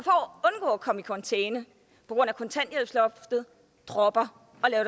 for at komme i karantæne på grund af kontanthjælpsloftet dropper